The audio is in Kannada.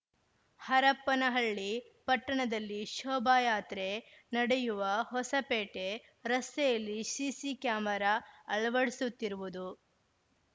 ಹರಪನಹಳ್ಳಿ ಪಟ್ಟಣದಲ್ಲಿ ಶೋಭಾಯಾತ್ರೆ ನಡೆಯುವ ಹೊಸಪೇಟೆ ರಸ್ತೆಯಲ್ಲಿ ಸಿಸಿ ಕ್ಯಾಮರ ಅಳವಡಿಸುತ್ತಿರುವುದು